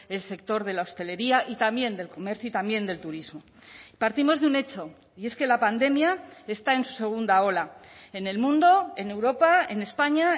el sector de la hostelería y también del comercio y también del turismo partimos de un hecho y es que la pandemia está en su segunda ola en el mundo en europa en españa